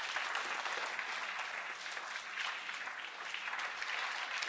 Merci beaucoup, Monsieur le Président de la Commission, merci beaucoup, cher Jean Claude.